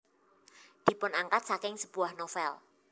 Dipunangkat saking sebuah novel